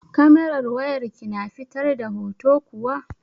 Kamerar wayar ki na fitar da hoto kuwa?